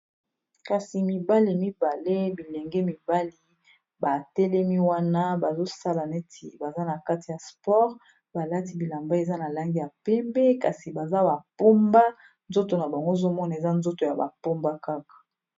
kasi mibale mibale bilenge mibali batelemi wana bazosala neti baza na kati ya sport balati bilamba eza na lange ya pembe kasi baza bapomba nzoto na bango ozomona eza nzoto ya bapomba kaka